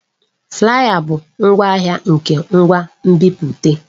Flaya bụ ngwaahịa nke ngwa nbipute.